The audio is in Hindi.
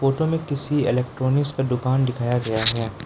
फोटो में किसी इलेक्ट्रॉनिक्स का दुकान दिखाया गया है।